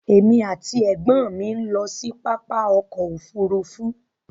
Èmi ati ẹ̀gbọ́n mi n lọ sí pápá ọkọ òfúrúúfú.